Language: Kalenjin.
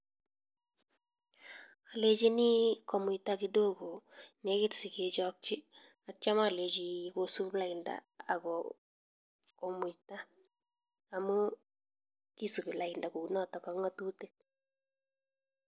Alechini komuita kidogo negit si kochapchi kosup lain amun kesup lain ko pa ng'atutik.